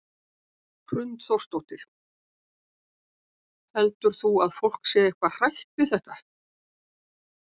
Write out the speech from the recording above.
Hrund Þórsdóttir: Heldur þú að fólk sé eitthvað hrætt við þetta?